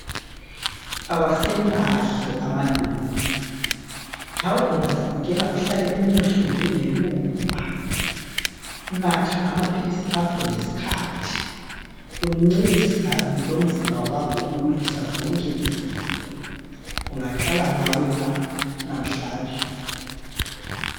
Awasemahle amaluba, lawe ungazipikela uhlale umuhle njengeluba. Natha amaphilisi akho ngesikhathi, uncedisane lomzimba wakho ukulwisa zonke izifo. Kungaqala ngawe la namhlanje.